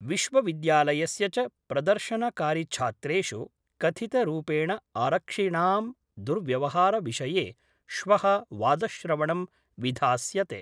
विश्वविद्यालयस्य च प्रदर्शनकारिछात्रेषु कथितरूपेण आरक्षिणां दुर्व्यवहारविषये श्व: वादश्रवणं विधास्यते।